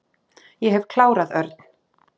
Ég hef klárað Örn.